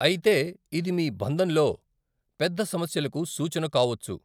అయితే ఇది మీ బంధంలో పెద్ద సమస్యలకు సూచన కావొచ్చు.